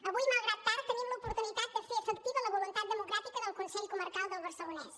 avui malgrat tard tenim l’oportunitat de fer efectiva la voluntat democràtica del consell comarcal del barcelonès